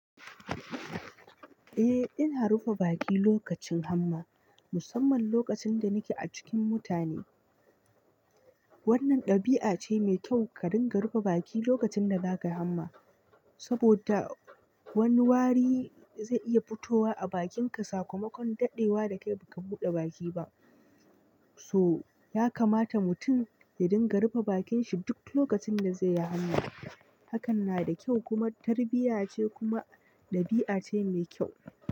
Eh ina rufe baki lokacin hamma, musamman lokacin da nake a cikin mutane. Wannan ɗabi'a ce mai kyau ka dinga rufe baki lokacin da zakayi hamma, saboda wani wari zai iya fitowa a bakinka sakamakon daɗewa da kai ba ka buɗe baki ba. To ya kamata mutum ya dinga rufe bakin shi duk lokacin da zai yi hamma. Hakan na da kyau kuma tarbiyya ce kuma ɗabi'a ce mai kyau.